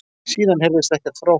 Síðan heyrðist ekkert frá honum